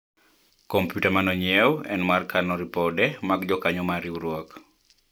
komputa mane onyiewu en mar kano ripode mag jokanyo mar riwruok